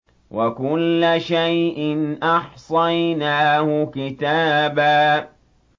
وَكُلَّ شَيْءٍ أَحْصَيْنَاهُ كِتَابًا